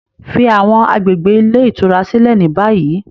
Fi awọn agbegbe ile itura silẹ ni bayi!